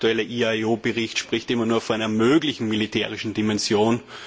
Der aktuelle IAEO Bericht spricht immer nur von einer möglichen militärischen Dimension.